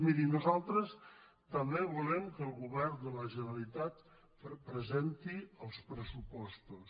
miri nosaltres també volem que el govern de la generalitat presenti els pressupostos